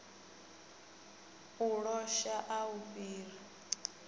u losha a u fhiri